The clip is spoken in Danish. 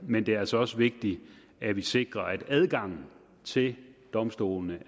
men det er altså også vigtigt at vi sikrer at adgangen til domstolene